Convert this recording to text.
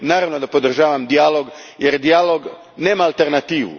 Naravno da podržavam dijalog jer dijalog nema alternativu.